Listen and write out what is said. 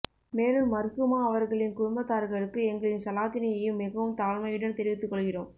மேலும் மர்ஹூமா அவர்களின் குடும்பத்தார்களுக்கு எங்களின் சலாதினையும் மிகவும் தாழ்மையுடன் தெரிவித்து கொள்கிறோம்